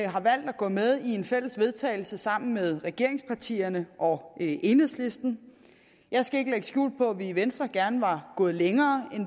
har valgt at gå med i et fælles vedtagelse sammen med regeringspartierne og enhedslisten jeg skal ikke lægge skjul på at vi i venstre gerne var gået længere end